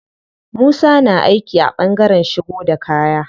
Musa na aiki a ɓangaren shigo da kaya.